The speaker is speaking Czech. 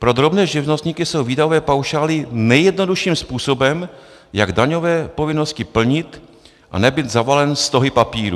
Pro drobné živnostníky jsou výdajové paušály nejjednodušším způsobem, jak daňové povinnosti plnit a nebýt zavalen stohy papírů.